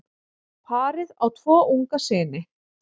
Parið á tvo unga syni.